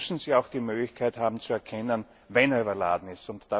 Deshalb müssen sie auch die Möglichkeit haben zu erkennen, ob er überladen ist.